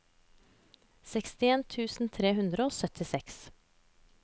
sekstien tusen tre hundre og syttiseks